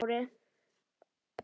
Sælir bræður- sagði Smári.